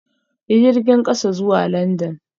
Yi jirgin kasa zuwa London